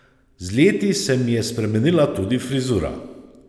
Z leti se mi je spremenila tudi frizura.